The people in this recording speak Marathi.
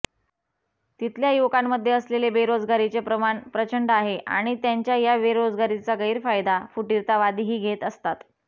तिथल्या युवकांमध्ये असलेले बेरोजगारीचे प्रमाण प्रचंड आहे आणि त्यांच्या या बेरोजगारीचा गैरफायदा फुटीरतावादीही घेत असतात